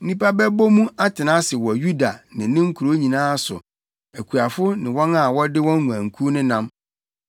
Nnipa bɛbɔ mu atena ase wɔ Yuda ne ne nkurow nyinaa so, akuafo ne wɔn a wɔde wɔn nguankuw nenam.